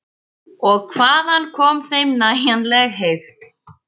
Og hvaðan kom þeim nægjanleg heift?